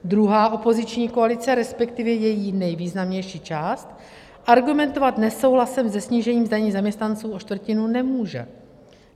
Druhá opoziční koalice, respektive její nejvýznamnější část, argumentovat nesouhlasem se snížením daní zaměstnanců o čtvrtinu nemůže.